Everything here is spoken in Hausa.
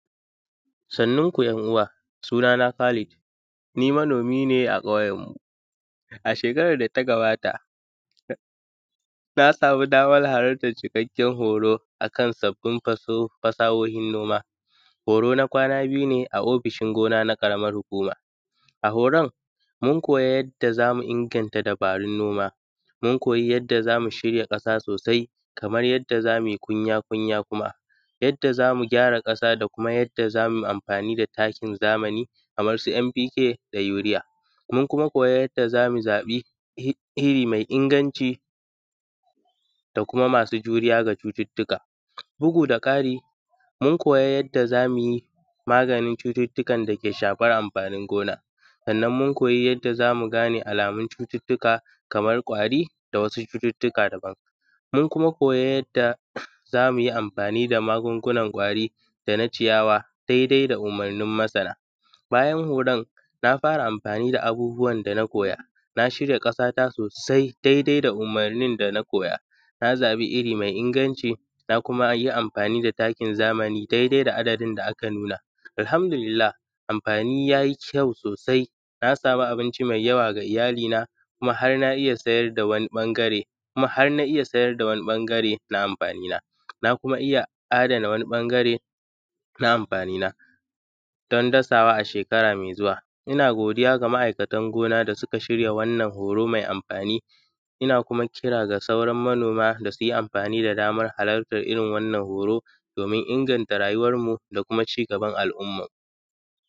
Sannunku `yan’uwa, sunana Khalid. Ni manomi ne a ƙauyenmu. Ashekarar da ta gabata, na samu damar halartar cikakkiyar horo a kan sabbin fasahohin noma. Horo na kwana biyu ne a ofishin gona na Ƙaramar Hukuma. A horon, mun koya yadda za mu inganta dabarun noma; mun koyi yadda za mu shirya ƙasa sosai; kamar yadda za mu yi kunya-kunya kuma; yadda za mu gyara ƙasa da kuma yadda za mu yi amfani da takin zamani kamar su M.P.K da Yuriya. Mun kuma koya yadda za mu zaɓi iri mai inganci, da kuma masu juriya ga cututtuka. Bugu da ƙari, mun koya yadda za mu yi maganin cututtukan da ke shafar amfanin gona. Sannan mun koyi yadda za mu gane alamun cututtuka, kamar ƙwari da wasu cututtuka daban. Mun kuma koyi yadda za mu yi amfani da magungunan ƙwari da na ciyawa daidai da umurnin masana. Bayan horon, na fara amfani da abubuwan da na koya. Na shirya ƙasata sosai daidai da umurnin da na koya. Na zaɓi iri mai inganci, na kuma yi amfani da takin zamani daidai da adadin da aka nuna. Alhamdulillah! Amfani ya yi kyau sosai, na samu abinci mai yawa ga iyalina, kuma har na iya sayar da wani ɓangare, kuma har na iya sayar da wani ɓangare na amfanina; na kuma iya adana wani ɓangare na amfanina, don dasawa a shekara mai zuwa. Ina godiya ga ma’aikatan gona da suka shirya wannan horo mai amfani. Ina kuma kira ga sauran manoma da su yi amfani da damar halartar irin wannan horo, domin inganta rayuwarmu da kuma cigaban al’umma.